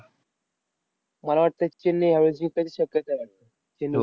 मला वाटतं, चेन्नई यावेळेस जिंकायची शक्यता आहे वाटतं, चेन्नई.